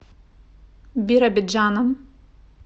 биробиджаном